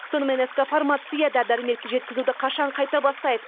сонымен ск фармация да дәрі дәрмекті жеткізуді қашан қайта бастайды